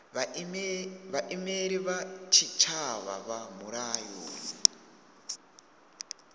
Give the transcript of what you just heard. vhaimeleli vha tshitshavha vha mulayoni